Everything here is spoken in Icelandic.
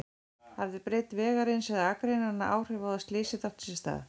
Hafði breidd vegarins eða akreinanna áhrif á að slysið átti sér stað?